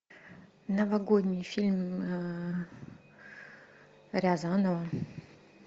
новогодний фильм рязанова